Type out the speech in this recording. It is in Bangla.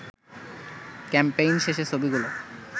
ক্যাম্পেইন শেষে ছবিগুলো